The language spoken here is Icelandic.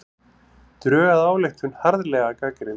Drög að ályktun harðlega gagnrýnd